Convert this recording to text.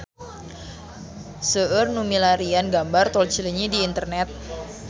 Seueur nu milarian gambar Tol Cileunyi di internet